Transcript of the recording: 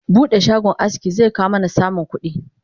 Bude shagon aski zekawo mana samun kudi